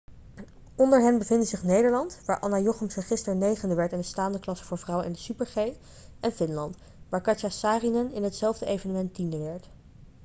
onder hen bevinden zich nederland waar anna jochemsen gisteren negende werd in de staande klasse voor vrouwen in de super-g en finland waar katja saarinen in hetzelfde evenement tiende werd